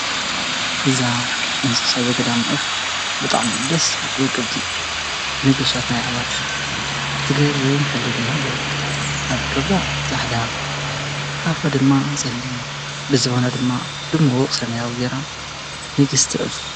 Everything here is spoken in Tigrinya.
እዛ እንስሳ ዘገዳ ዕፍ ብጣም ይደስ ወቀብቲ ንጉሳትና ይዕባርሽ ዝገይርም ኅብሪ ድማ ኣለዉ። ኣብከብራ ፃሕዳ ኣፉ ድማ ጸልን ብዝዋና ድማ ድምወቕ ሰመያው ጌይራ ንግሥቲ ዕፍ እያ።